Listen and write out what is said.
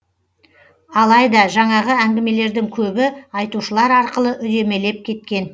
алайда жаңағы әңгімелердің көбі айтушылар арқылы үдемелеп кеткен